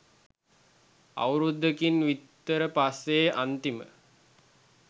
අවුරුද්දකින් විතර පස්සේ අනිතිම